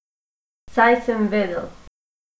Saj sem vedel.